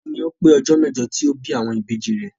Òní ni ó pé ọjọ́ mẹ́jọ tí ó bí àwọn Ìbejì rẹ̀.